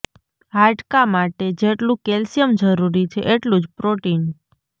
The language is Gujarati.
હાડકાં માટે જેટલું કેલ્શિયમ જરૂરી છે એટલું જ પ્રોટિન